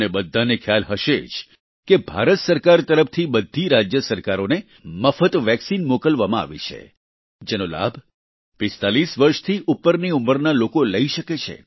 તમને બધાને ખ્યાલ જ હશે કે ભારત સરકાર તરફથી બધી રાજ્ય સરકારોને મફત વેક્સિન મોકલવામાં આવી છે જેનો લાભ 45 વર્ષથી ઉપરની ઉંમરના લોકો લઈ શકે છે